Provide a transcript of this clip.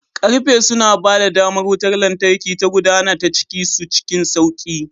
Karfe suna ba da damar wutar lantarki ta gudana ta cikin su cikin sauƙi.